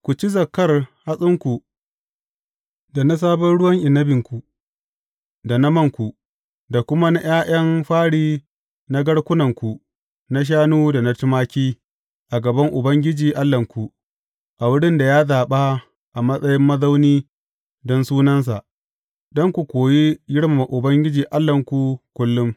Ku ci zakkar hatsinku, da na sabon ruwan inabinku, da na manku, da kuma na ’ya’yan fari na garkunanku na shanu da na tumaki a gaban Ubangiji Allahnku, a wurin da ya zaɓa a matsayin mazauni don Sunansa, don ku koyi girmama Ubangiji Allahnku kullum.